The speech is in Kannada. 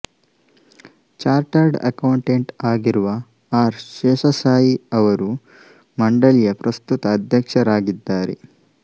ಚಾರ್ಟರ್ಡ್ ಅಕೌಂಟೆಂಟ್ ಆಗಿರುವ ಆರ್ ಶೇಷಾಸಾಯಿ ಅವರು ಮಂಡಳಿಯ ಪ್ರಸ್ತುತ ಅಧ್ಯಕ್ಷರಾಗಿದ್ದಾರೆ